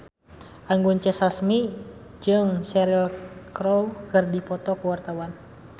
Anggun C. Sasmi jeung Cheryl Crow keur dipoto ku wartawan